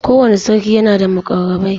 Kowanne sarki yana da muƙarrabai.